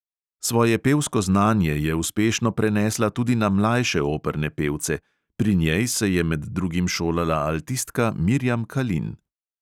Svoje pevsko znanje je uspešno prenesla tudi na mlajše operne pevce; pri njej se je med drugim šolala altistka mirjam kalin.